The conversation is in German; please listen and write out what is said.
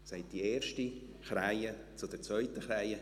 Sagte die erste Krähe zur zweiten Krähe: